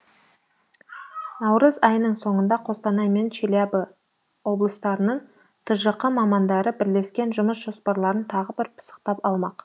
наурыз айының соңында қостанай мен челябі облыстарының тжқ мамандары бірлескен жұмыс жоспарларын тағы бір пысықтап алмақ